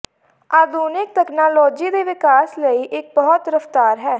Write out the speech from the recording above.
ਆਧੁਨਿਕ ਤਕਨਾਲੋਜੀ ਦੇ ਵਿਕਾਸ ਲਈ ਇੱਕ ਬਹੁਤ ਰਫ਼ਤਾਰ ਹੈ